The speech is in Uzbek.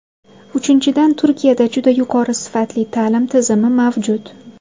Uchinchidan, Turkiyada juda yuqori sifatli ta’lim tizimi mavjud.